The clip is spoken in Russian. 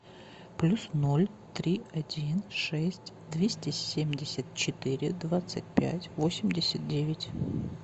плюс ноль три один шесть двести семьдесят четыре двадцать пять восемьдесят девять